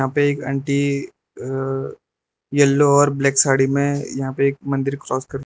एक aunty a yellow और black sari में यहां पे एक मंदिर क्रॉस कर--